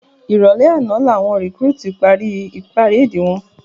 Iròlè àná lá wòn rikúrútú pári párédi wòn